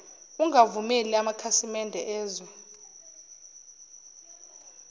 ungavumeli amakhasimede ezwe